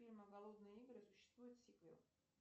фильма голодные игры существует сиквел